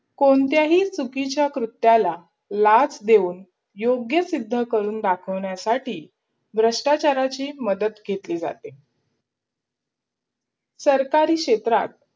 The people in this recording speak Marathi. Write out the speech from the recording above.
कोणत्याही चुकीच्या कृत्याला लाच देऊन योग्य सिद्ध करून दाखवण्यासाठी भ्रष्टाचाराची मदत घेतली जाते सरकारी क्षेत्रात